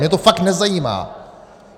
Mě to fakt nezajímá.